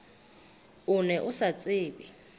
o ne o sa tsebe